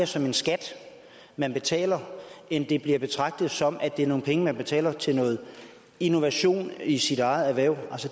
som en skat man betaler end det bliver betragtet som at det er nogle penge man betaler til noget innovation i sit eget erhverv